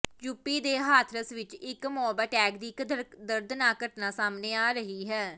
UP ਦੇ ਹਾਥਰਸ ਵਿਚ ਇੱਕ ਮੋਬ ਅਟੈਕ ਦੀ ਇਕ ਦਰਦਨਾਕ ਘਟਨਾ ਸਾਹਮਣੇ ਆ ਰਹੀ ਹੈ